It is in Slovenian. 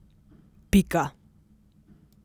Pika.